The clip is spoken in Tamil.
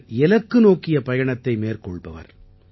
இவர் இலக்கு நோக்கிய பயணத்தை மேற்கொள்பவர்